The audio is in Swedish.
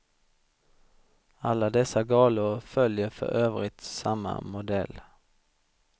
Alla dessa galor följer för övrigt samma modell.